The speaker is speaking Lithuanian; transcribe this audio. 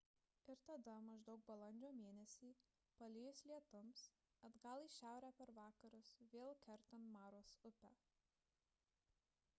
ir tada maždaug balandžio mėnesį palijus lietums atgal į šiaurę per vakarus vėl kertant maros upę